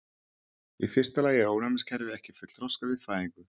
Í fyrsta lagi er ónæmiskerfið ekki fullþroskað við fæðingu.